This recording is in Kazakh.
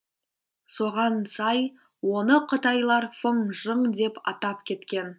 соған сай оны қытайлар фыңжың деп атап кеткен